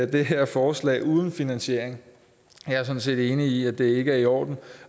det her forslag uden finansiering jeg er sådan set enig i at det ikke er i orden